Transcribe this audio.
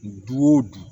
Du o du